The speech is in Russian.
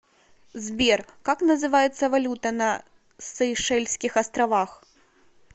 сбер как называется валюта на сейшельских островах